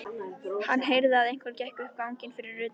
Hann heyrði að einhver gekk um ganginn fyrir utan.